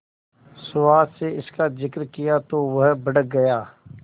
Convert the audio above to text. सुहास से इसका जिक्र किया तो वह भड़क गया